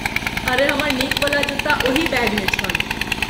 अरे हमर नीकवला जुत्ता ओही बैगमे छल।